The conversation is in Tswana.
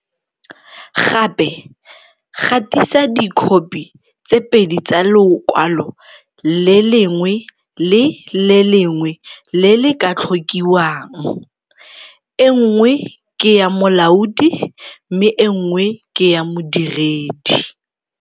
Gape gatisa dikhopi tse pedi tsa lokwalo le lengwe le le lengwe le le ka tlhokiwang, e nngwe ke ya molaodi mme e nngwe ke ya modiredi.